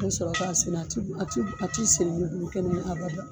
I bɛ sɔrɔ k'a sera. A ti bu a ti bu a ti sen bolo ni kɛnɛ ye abadan.